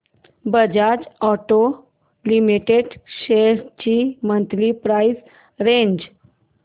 Bajaj Auto Limited shares ची monthly price range